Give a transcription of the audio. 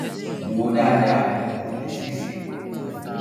wò ó dáadáa kó lè ṣeé ṣe